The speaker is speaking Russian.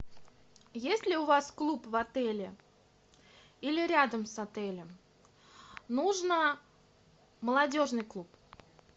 есть ли у вас клуб в отеле или рядом с отелем нужно молодежный клуб